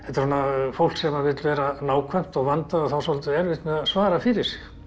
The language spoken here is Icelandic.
fólk sem vill vera nákvæmt og vandað og á dálítið erfitt með að svara fyrir sig